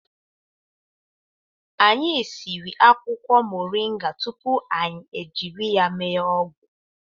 Anyị siri akwụkwọ moringa tupu anyị jiri ya mee ọgwụ